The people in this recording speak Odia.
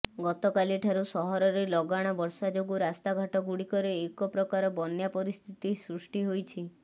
ଗତକାଲିଠାରୁ ସହରରେ ଲାଗାଣ ବର୍ଷା ଯୋଗୁଁ ରାସ୍ତାଘାଟ ଗୁଡ଼ିକରେ ଏକ ପ୍ରକାର ବନ୍ୟା ପରିସ୍ଥିତି ସୃଷ୍ଟି ହୋଇଛି